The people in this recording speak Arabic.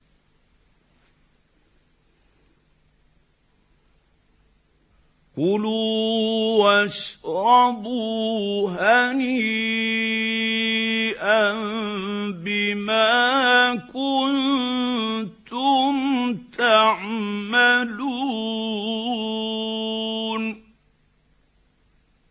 كُلُوا وَاشْرَبُوا هَنِيئًا بِمَا كُنتُمْ تَعْمَلُونَ